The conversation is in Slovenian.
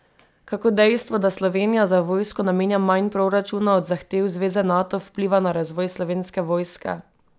Kako dejstvo, da Slovenija za vojsko namenja manj proračuna od zahtev zveze Nato, vpliva na razvoj Slovenske vojske?